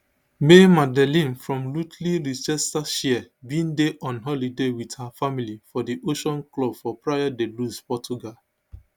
maymadeleine from rothley leicestershire bin dey on holiday wit her family for di ocean club for praia da luz portugal